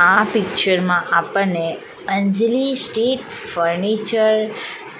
આ પિક્ચરમાં આપણને અંજલી સ્ટીલ ફર્નિચર